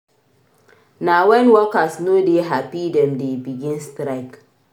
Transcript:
Na wen workers no dey hapi dem dey begin strike.